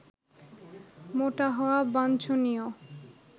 মোটা হওয়া বাঞ্ছনীয়